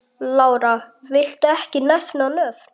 Lára: Viltu ekki nefna nöfn?